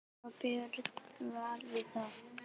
Fá Björn Val í það?